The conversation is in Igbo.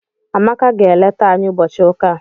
Amaka ga-eleta anyị ụbọchị ụka a.